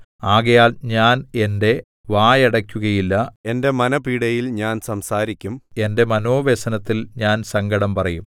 ആകയാൽ ഞാൻ എന്റെ വായടയ്ക്കുകയില്ല എന്റെ മനഃപീഡയിൽ ഞാൻ സംസാരിക്കും എന്റെ മനോവ്യസനത്തിൽ ഞാൻ സങ്കടം പറയും